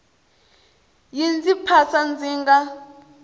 yi ndzi phasa ndzi nga